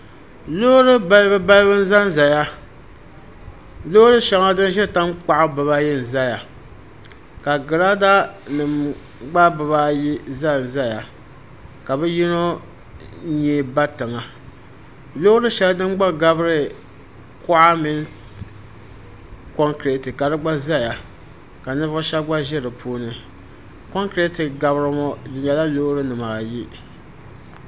loori balibu balibu n-za zaya loori shɛŋa din ʒiri tankpaɣu dibaa ayi n-ʒiya ka giraada nima gba dibaa ayi za n-zaya ka bɛ yino nyee ba tiŋa loori shɛli din gba gabiri kuɣa mini kɔŋkeriti ka di gba ʒiya ka ninvuɣ' shɛba gba ʒi di puuni kɔŋkeriti gabiri ba ŋɔ bɛ nyɛla loori nima ayi.